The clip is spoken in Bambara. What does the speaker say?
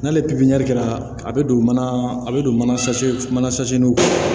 N'ale pipiniyɛri la a bɛ don mana a bɛ don mana kɔnɔ